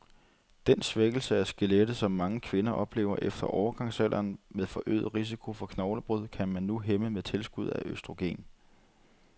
Den svækkelse af skelettet, som mange kvinder oplever efter overgangsalderen med forøget risiko for knoglebrud, kan man nu hæmme med tilskud af østrogen.